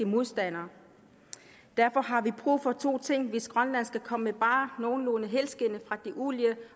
modstandere derfor har vi brug for to ting hvis grønland skal komme bare nogenlunde helskindet fra det olie